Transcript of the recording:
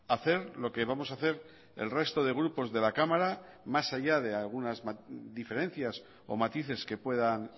hacer lo que vamos a hacer el resto de grupos de la cámara más allá de algunas diferencias o matices que puedan